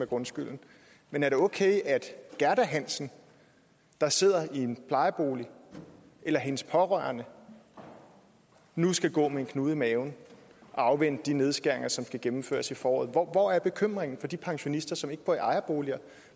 grundskylden men er det okay at gerda hansen der sidder i en plejebolig eller hendes pårørende nu skal gå med en knude i maven og afvente de nedskæringer som skal gennemføres i foråret hvor er bekymringen for de pensionister som ikke bor i ejerboliger